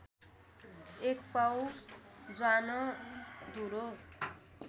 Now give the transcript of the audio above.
एक पाउ ज्वानो धूलो